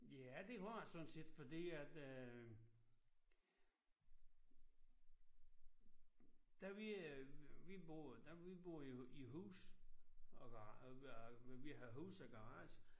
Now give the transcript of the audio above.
Ja det har jeg sådan set fordi at øh da vi øh vi boede da vi boede i i hus der var og var vi havde hus og garage